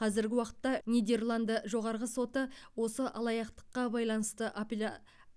қазіргі уақытта нидерланды жоғарғы соты осы алаяқтыққа байланысты апелля